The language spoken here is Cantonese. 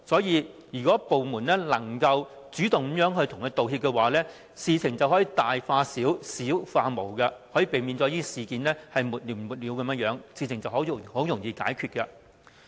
因此，如果部門能主動向他們作出道歉，事情便可由大化小，由小化無，可避免沒完沒了的爭議，事情便容易解決。